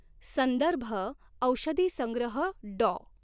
संदर्भ ओषधीसंग्रह डॉ.